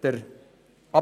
der SiK.